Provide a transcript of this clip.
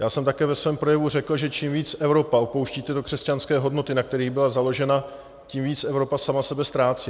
Já jsem také ve svém projevu řekl, že čím víc Evropa opouští tyto křesťanské hodnoty, na kterých byla založena, tím víc Evropa sama sebe ztrácí.